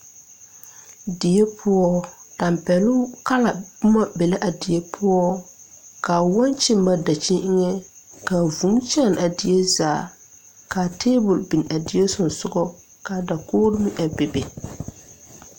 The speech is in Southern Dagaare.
Die poɔ tampɛloŋ kala boma be la a die poɔ kaa wɔɔkyi mare daŋkyini eŋɛ ka vūū kyaane a die zaa kaa tabole bin a die suŋsugɔ kaa dakogre meŋ a bebe.